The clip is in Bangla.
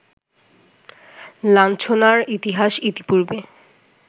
লাঞ্ছনার ইতিহাস ইতিপূর্বে